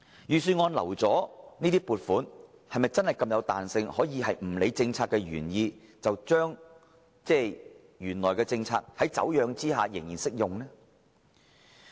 預算案預留的撥款是否真的具有這麼大彈性，可以不理政策原意而繼續適用於已經"走樣"的政策？